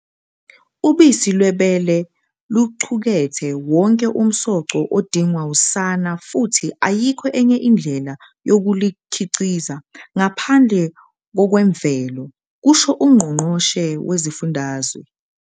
"Ubisi lwebele luqukethe wonke umsoco odingwa usana futhi ayikho enye indlela yokulukhiqiza ngaphandle kokwemvelo," kusho uNgqo ngqoshe Wesifundazwe.